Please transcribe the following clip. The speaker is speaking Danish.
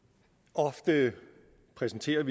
ofte præsenteres